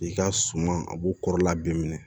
I ka suman a b'u kɔrɔla bɛɛ minɛ